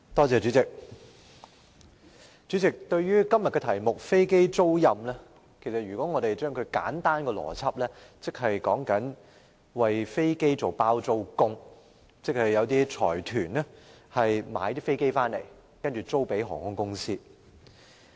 主席，對於今天的辯論題目"飛機租賃"，若以簡單邏輯理解，就是為飛機作"包租公"：由財團購買飛機，然後出租予航空公司。